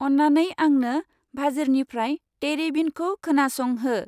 अन्नानै आंंनो भाजिरनिफ्राय तेरे बिनखौ खोनासं हो।